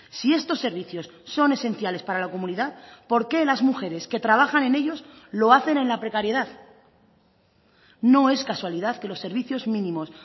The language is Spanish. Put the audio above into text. si estos servicios son esenciales para la comunidad por qué las mujeres que trabajan en ellos lo hacen en la precariedad no es casualidad que los servicios mínimos